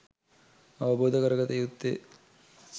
අවබෝධ කරගත යුත්තේ